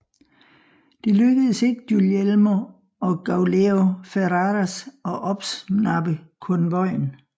Det lykkedes ikke Guglielmo og Gauleo Ferraras at opsnappe konvojen